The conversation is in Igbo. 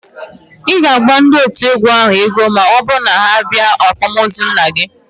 Ị ga-abọ ndị otu égwú ahụ ego ma ọbụrụ na ha bịa ákwạ́mozu nna gị